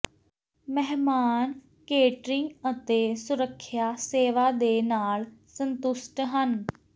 ਮਹਿਮਾਨ ਕੇਟਰਿੰਗ ਅਤੇ ਸੁਰੱਖਿਆ ਸੇਵਾ ਦੇ ਨਾਲ ਸੰਤੁਸ਼ਟ ਹਨ